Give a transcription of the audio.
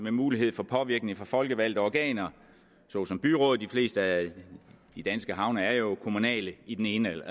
en mulighed for påvirkning fra folkevalgte organer såsom byråd de fleste af de danske havne er jo kommunale i den ene eller